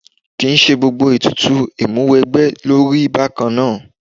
Kì í ṣe gbogbo ètùtù Ìmúwẹgbẹ́ ló rí bákan náà